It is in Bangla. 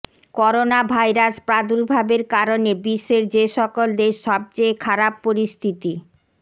করোনাভাইরাস প্রাদুর্ভাবের কারণে বিশ্বের যেসকল দেশ সবচেয়ে খারাপ পরিস্থিত